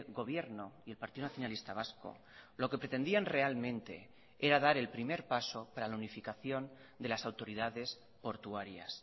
gobierno y el partido nacionalista vasco lo que pretendían realmente era dar el primer paso para la unificación de las autoridades portuarias